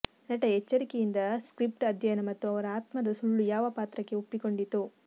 ನಟ ಎಚ್ಚರಿಕೆಯಿಂದ ಸ್ಕ್ರಿಪ್ಟ್ ಅಧ್ಯಯನ ಮತ್ತು ಅವರು ಆತ್ಮದ ಸುಳ್ಳು ಯಾವ ಪಾತ್ರಕ್ಕೆ ಒಪ್ಪಿಕೊಂಡಿತು